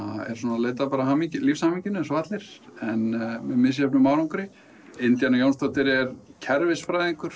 og leita að lífshamingjunni eins og allir en með misjöfnum árangri Indíana Jónsdóttir er kerfisfræðingur